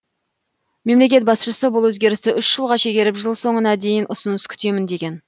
мемлекет басшысы бұл өзгерісті үш жылға шегеріп жыл соңына дейін ұсыныс күтемін деген